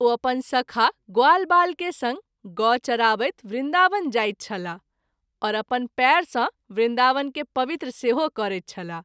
ओ अपन सखा ग्वालवाल के संग गौ चराबैत वृन्दावन जाइत छलाह आओर अपन पैर सँ वृन्दावन के पवित्र सेहो करैत छलाह।